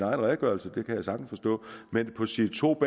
redegørelse det kan jeg sagtens forstå men på side to